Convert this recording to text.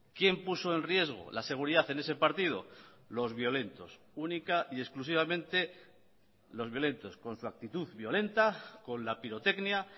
quién puso en riesgo la seguridad en ese partido los violentos única y exclusivamente los violentos con su actitud violenta con la pirotecnia